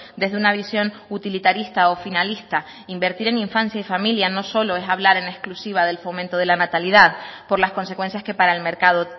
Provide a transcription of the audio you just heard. desde una visión utilitarista o finalista invertir en infancia y familia no solo es hablar en exclusiva del fomento de la natalidad por las consecuencias que para el mercado